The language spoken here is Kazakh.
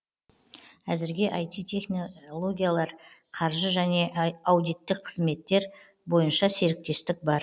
әзірге айти технологиялар қаржы және аудиттік қызметтер бойынша серіктестік бар